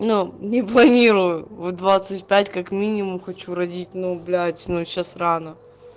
но не планирую в двадцать пять как минимум хочу родить но блять но сейчас рано